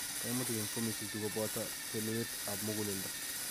Kaimutik eng' formisiek chu kobooto telelet ab muguleledo